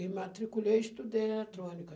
E matriculei e estudei eletrônica.